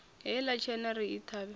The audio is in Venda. heiḽa tshena ri i ṱhavhe